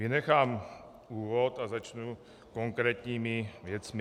Vynechám úvod a začnu konkrétními věcmi.